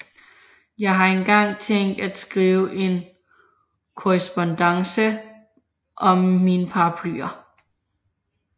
Jeg har engang tænkt at skrive en Korrespondance om mine Paraplyer